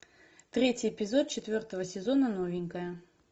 третий эпизод четвертого сезона новенькая